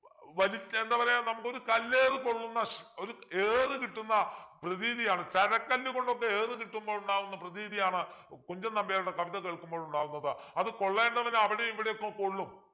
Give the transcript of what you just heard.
വലിച്ച എന്താ പറയാ നമുക്കൊരു കല്ലേറു കൊള്ളുന്ന ശ് ഒരു ഏറു കിട്ടുന്ന പ്രതീതിയാണ് ചരക്കല്ലു കൊണ്ടൊക്കെ ഏറു കിട്ടുമ്പോൾ ഉണ്ടാകുന്ന പ്രതീതിയാണ് കുഞ്ചൻ നമ്പ്യാരുടെ കവിത കേൾക്കുമ്പോൾ ഉണ്ടാകുന്നത് അത് കൊള്ളേണ്ടവന് അവിടേം ഇവിടേം ഒക്കെ കൊള്ളും